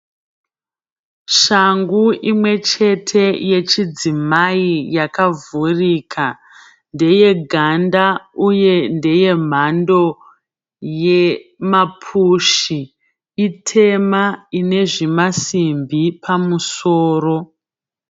Shangu imwechete yechidzimai yakavhurika ndeye ganda uye ndeye mhando yemapushi itema ine zvimasimbi pamusoro.